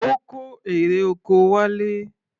Ó kó erè oko wálé.